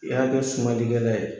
I y'a kɛ sumalikɛla ye